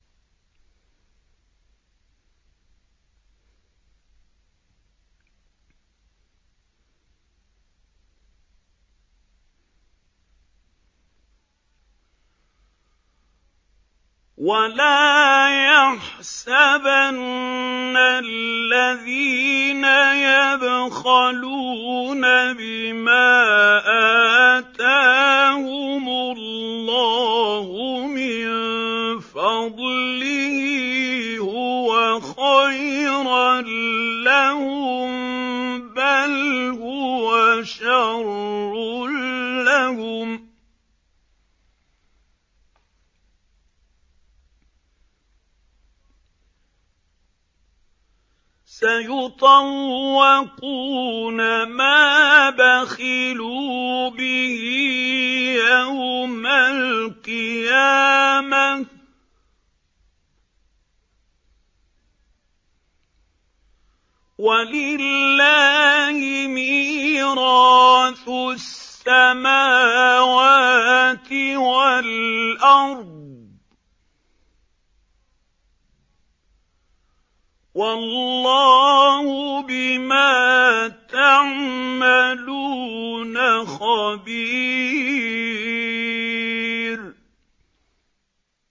وَلَا يَحْسَبَنَّ الَّذِينَ يَبْخَلُونَ بِمَا آتَاهُمُ اللَّهُ مِن فَضْلِهِ هُوَ خَيْرًا لَّهُم ۖ بَلْ هُوَ شَرٌّ لَّهُمْ ۖ سَيُطَوَّقُونَ مَا بَخِلُوا بِهِ يَوْمَ الْقِيَامَةِ ۗ وَلِلَّهِ مِيرَاثُ السَّمَاوَاتِ وَالْأَرْضِ ۗ وَاللَّهُ بِمَا تَعْمَلُونَ خَبِيرٌ